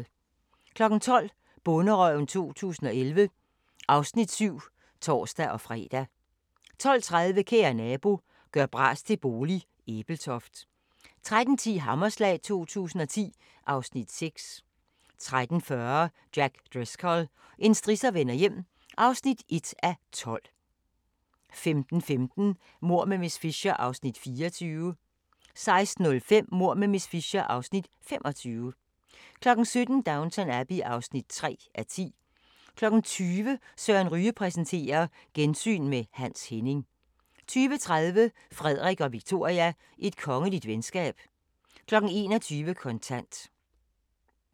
12:00: Bonderøven 2011 (Afs. 7)(tor-fre) 12:30: Kære nabo – gør bras til bolig – Ebeltoft 13:10: Hammerslag 2010 (Afs. 6) 13:40: Jack Driscoll – en strisser vender hjem (1:12) 15:15: Mord med miss Fisher (Afs. 24) 16:05: Mord med miss Fisher (Afs. 25) 17:00: Downton Abbey (3:10) 20:00: Søren Ryge præsenterer: Gensyn med Hans Henning 20:30: Frederik og Victoria – Et kongeligt venskab 21:00: Kontant